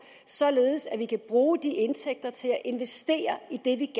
således at vi kan bruge de indtægter til at investere i det